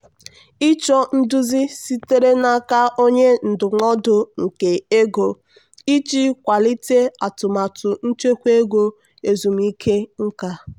"ịchọ nduzi sitere n'aka onye ndụmọdụ nke ego iji kwalite atụmatụ nchekwa ego ezumike nka."